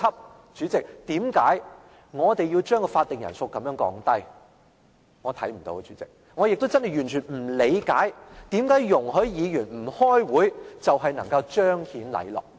代理主席，為何我們要將法定人數這樣降低，我看不到，代理主席，我也真的完全不理解為何容許議員不開會就能彰顯禮樂。